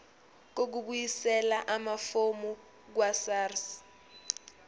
kokubuyisela amafomu kwasars